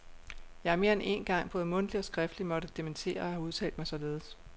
Jeg har mere end én gang både mundtligt og skriftligt måtte dementere at have udtalt mig således.